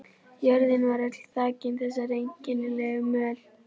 Jörðin var öll þakin þessari einkennilegu möl.